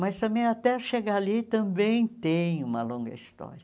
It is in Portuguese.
Mas também, até chegar ali, também tem uma longa história.